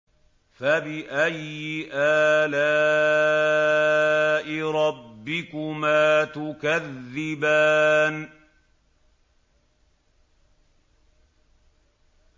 فَبِأَيِّ آلَاءِ رَبِّكُمَا تُكَذِّبَانِ